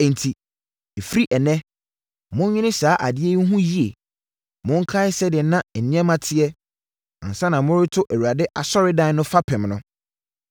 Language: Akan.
“ ‘Enti, ɛfiri ɛnnɛ, monnwene saa adeɛ yi ho yie. Monkae sɛdeɛ na nneɛma teɛ, ansa na moreto Awurade asɔredan no fapem no.